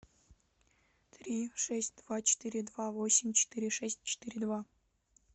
три шесть два четыре два восемь четыре шесть четыре два